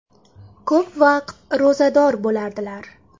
Ko‘p vaqt ro‘zador bo‘lardilar.